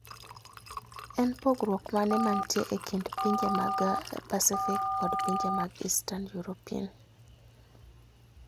En pogruok mane mantie e kind pinje mag Pacific kod pinje mag Eastern European?